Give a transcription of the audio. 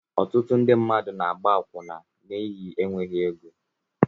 Ọtụtụ ndị mmadụ na-agba akwụna n'ihi enweghị ego